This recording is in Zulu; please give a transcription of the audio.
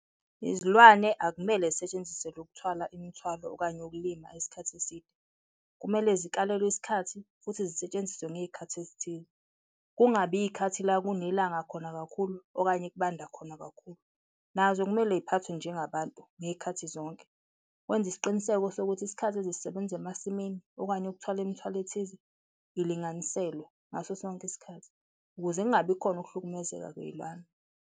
Izilwane akumele zisetshenziselwe ukuthwala imithwalo okanye ukulima isikhathi eside, kumele zikalelwe isikhathi futhi zisetshenziswe ngezikhathi ezithize, kungabi izikhathi la kunelanga khona kakhulu okanye kubanda khona kakhulu, nazo kumele ziphathwe njengabantu ngezikhathi zonke. Wenze isiqiniseko sokuthi isikhathi ozosisebenza emasimini okanye ukuthwala imithwalo ethize, ilinganiselwe ngaso sonke isikhathi ukuze kungabi khona ukuhlukumezeka kweyilwane.